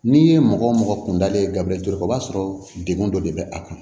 N'i ye mɔgɔ o mɔgɔ kundalen ye gabirikɛ kɔ b'a sɔrɔ degun dɔ de bɛ a kɔnɔ